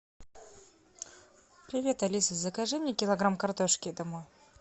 привет алиса закажи мне килограмм картошки домой